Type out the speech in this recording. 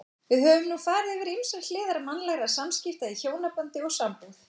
Við höfum nú farið yfir ýmsar hliðar mannlegra samskipta í hjónabandi og sambúð.